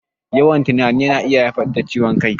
Yawan tunani yana iya haifar da ciwon kai